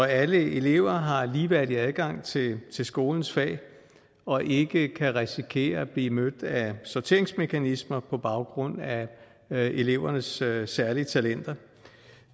alle elever har ligeværdig adgang til skolens fag og ikke kan risikere at blive mødt af sorteringsmekanismer på baggrund af elevernes særlige særlige talenter